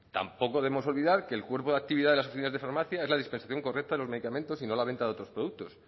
tampoco debemos olvidar que el cuerpo de actividad de las oficinas de farmacia es la dispensación correcta de los medicamentos y no la venta de otros productos